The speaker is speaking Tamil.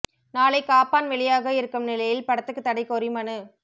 நாளை காப்பான் வெளியாக இருக்கும் நிலையில் படத்துக்கு தடை கோரி மனு